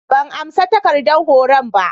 ban amsa takardar horon ba.